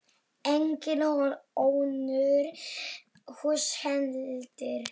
Engin önnur hús heldur.